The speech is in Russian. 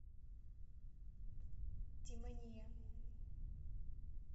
демония